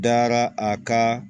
Dara a ka